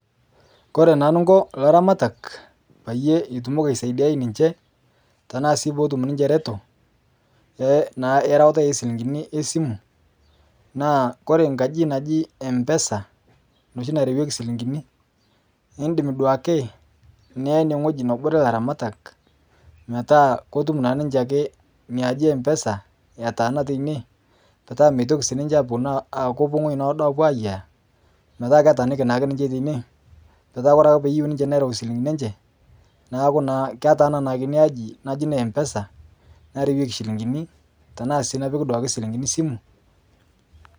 Kore naa Ninkoo laramatak piitumoki aisaidiai ninshee tanaa sii peetum ninshe retoo erawata esilinkini esimu naa Kore nkaji najii empesa noshi narawekii silinkinii indim duake niyaa inie nghoji neboree laramatak metaa kotum naa ninshee akee inia ajii empesa etaana teinie petaa meitoki sii ninshe aponuu aakopuo nghojii noodo apuo ayia metaa ketaaniki naake ninshe teinie metaa Kore akee teneyeu ninshe nereu silinkini enshee naaku ketaana naake inia ajii naji ne empesa narawekii silinkinii tanaa sii duake napikii silinkinii simuu